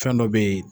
Fɛn dɔ be yen